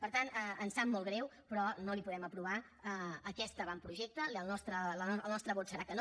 per tant ens sap molt greu però no li podem aprovar aquest avantprojecte i el nostre vot serà que no